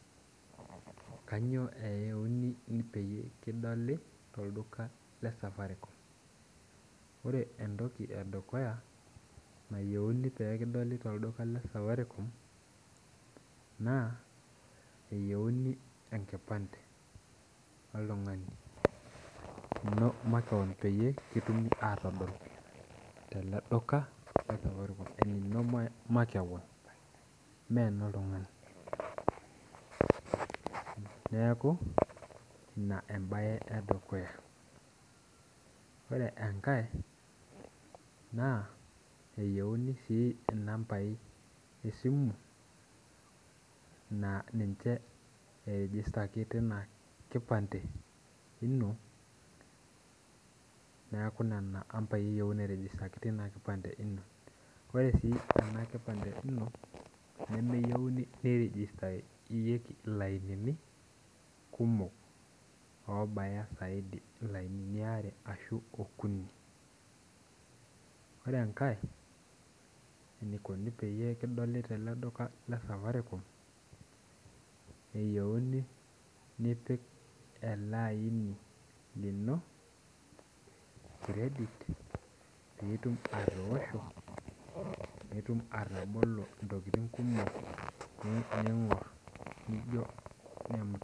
Kanyio eyieuni peyie kidoli tolduka lesafaricom yiolo entoki edukuya nayieuni pekidoli tolduka le Safaricom na eyieuni enkipande oltungani enino makeon pekitumoki atadol teleduka, enino makeon me oltungani neaku ina embae edukuya ore enkae na eyieuni si nambai esimu na ninche tinakipande ino neaku nona ambai eyieuni nairejistaki tinakipande ino ore si enakipande ino nemeyieuni niregistaka lainini kumok ashu saidi, lainini aare ashu okuni ore enkae nikoni peyiie kidoli tele duka le Safaricom na keyieuni nipik elaini lini credit pitum atoosho pitum ataboko ntokitin.